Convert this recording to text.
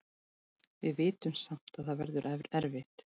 Við vitum samt að það verður erfitt.